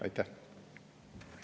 Aitäh!